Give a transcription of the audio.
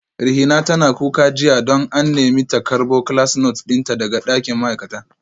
Rihima tana kuka jiya don an nemi ta karbo class note dinta daga dakin ma'aikata